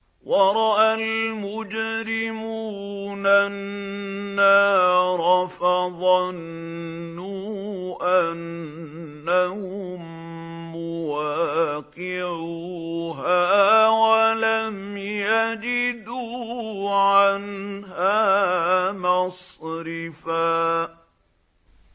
وَرَأَى الْمُجْرِمُونَ النَّارَ فَظَنُّوا أَنَّهُم مُّوَاقِعُوهَا وَلَمْ يَجِدُوا عَنْهَا مَصْرِفًا